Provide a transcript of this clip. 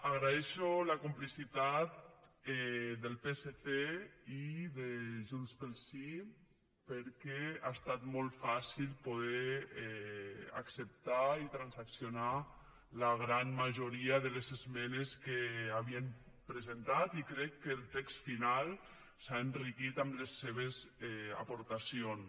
agraeixo la complicitat del psc i de junts pel sí perquè ha estat molt fàcil poder acceptar i transaccionar la gran majoria de les esmenes que havien presentat i crec que el text final s’ha enriquit amb les seves aportacions